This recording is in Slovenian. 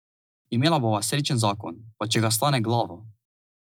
Imela bova srečen zakon, pa če ga stane glavo.